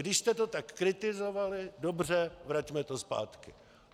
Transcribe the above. Když jste to tak kritizovali, dobře, vraťme to zpátky.